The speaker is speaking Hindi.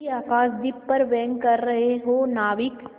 मेरे आकाशदीप पर व्यंग कर रहे हो नाविक